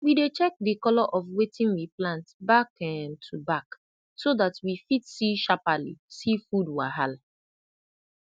we dey check de colo of wetin we plant back um to back so dat we fit see sharpali see food wahala